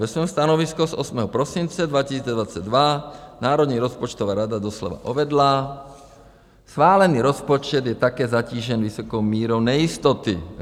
Ve svém stanovisku z 8. prosince 2022 Národní rozpočtová rada doslova uvedla: Schválený rozpočet je také zatížen vysokou mírou nejistoty.